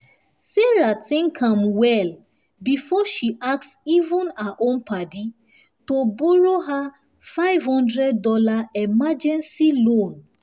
sarah think am well before she ask even her own padi to borrow her five hundred dollars emergency loan